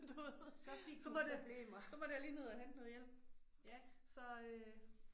Døde. Så måtte jeg så måtte jeg lige ned og hente noget hjælp så øh